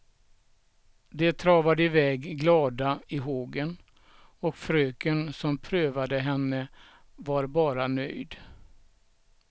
De travade iväg glada i hågen och fröken som prövade henne var bara nöjd.